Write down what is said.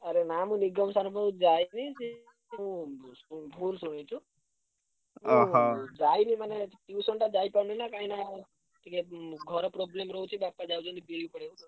ଆରେ ନା ମୁଁ ନିଗମ sir ଙ୍କ ପାଖୁକୁ ଯାଇନି ଉଁ କୋଉଠି ଶୁଣୁଛୁ? ଯାଇନି ମାନେ tuition ଟା ଯାଇପାରୁନି ନା କାହିଁକିନା ଟିକେ ଉଁ ଘର problem ରହୁଛି ବାପା ଯାଉଛନ୍ତି ପଡିଆକୁ।